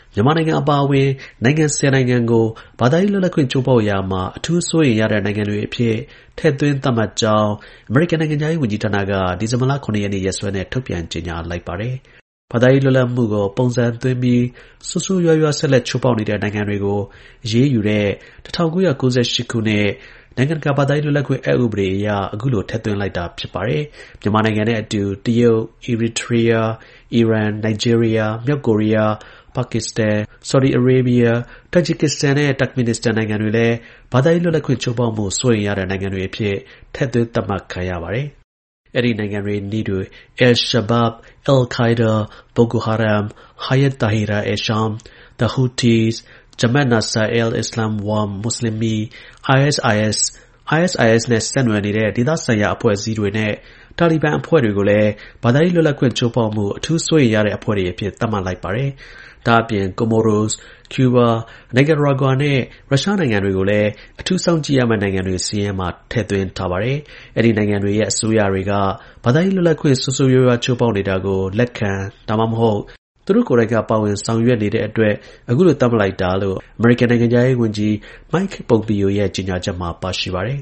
မြန်မာနိုင်ငံ အပါအဝင် နိုင်ငံ ၁၀ နိုင်ငံကို ဘာသာရေး လွတ်လပ်ခွင့် ချိုးဖောက်ရာမှာ အထူး စိုးရိမ်ရတဲ့ နိုင်ငံတွေအဖြစ် ထည့်သွင်း သတ်မှတ်ကြောင်း အမေရိကန် နိုင်ငံခြားရေး ဝန်ကြီးဌာနက ဒီဇင်ဘာလ ၇ ရက်နေ့ရက်စွဲနဲ့ထုတ်ပြန်ကြေညာလိုက်ပါတယ်။ ဘာသာရေး လွတ်လပ်မှုကို ပုံစံသွင်းပြီး ဆိုးဆိုးရွားရွား ဆက်လက် ချိုးဖောက်နေတဲ့ နိုင်ငံတွေကို အရေးယူတဲ့ ၁၉၉၈ ခုနှစ်၊ နိုင်ငံ တကာ ဘာသာရေး လွတ်လပ်ခွင့် အက် ဥပဒေ International Religious Freedom Act of 1998 အရ အခုလို ထည့်သွင်းလိုက်တာ ဖြစ်ပါတယ်။ မြန်မာနိုင်ငံနဲ့ အတူ တရုတ်၊ အီရီထရီးယား၊ အီရန်၊ နိုင်ဂျီးရီးယား၊ မြောက်ကိုရီးယား၊ ပါကစ္စတန်၊ ဆော်ဒီ အာရေဘီးယား၊ တာဂျစ် ကစ္စတန်နဲ့ တာ့ခ်မင်နစ္စတန် နိုင်ငံတွေလည်း ဘာသာရေး လွတ်လပ်ခွင့် ချိုးဖောက်မှု စိုးရိမ်ရတဲ့ နိုင်ငံတွေ အဖြစ် ထည့်သွင်း သတ်မှတ် ခံရပါတယ်။ အဲဒီနိုင်ငံတွေ နည်းတူ al-Shabaab, al-Qa’ida, Boko Haram, Hayat Tahrir al-Sham, the Houthis, Jamaat Nasr al-Islam wal Muslimin၊ ISIS, ISIS နဲ့ဆက်နွယ်နေတဲ့ ဒေသဆိုင်ရာ အဖွဲ့အစည်းတွေနဲ့ Taliban အဖွဲ့တွေကိုလည်း ဘာသာရေး လွတ်လပ်ခွင့် ချိုးဖောက်မှု အထူး စိုးရိမ်ရတဲ့ အဖွဲ့တွေ အဖြစ် သတ်မှတ် လိုက်ပါတယ်။ ဒါ့အပြင်၊ Comoros၊ ကျူးဘား၊ နိုင်ကာရာဂွာနဲ့ ရုရှားနိုင်ငံတွေကို အထူး စောင့်ကြည့်ရမယ့်နိုင်ငံတွေ စာရင်းမှာ ထည့်သွင်းထား ပါတယ်။ အဲဒီ နိုင်ငံတွေရဲ့ အစိုးရတွေက ဘာသာရေး လွတ်လပ်ခွင့်ကို ဆိုးဆိုးရွားရွား ချိုးဖောက်နေတာကို လက်ခံ ဒါမှမဟုတ် သူတို့ ကိုယ်တိုင်က ပါဝင် ဆောင်ရွက်နေတဲ့အတွက် အခုလို သတ်မှတ်တာလို့ အမေရိကန်နိုင်ငံခြားရေးဝန်ကြီး Mike Pompeo ရဲ့ ကြေညာချက်မှာ ပါရှိပါတယ်